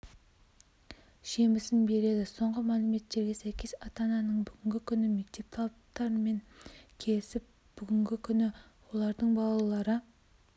жемісін береді соңғы мәліметтерге сәйкес ата-ананың бүгінгі күні мектеп талаптарымен келісіп бүгінгі күні олардың балалары